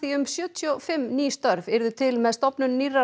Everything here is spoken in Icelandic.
um sjötíu og fimm ný störf yrðu til með stofnun nýrrar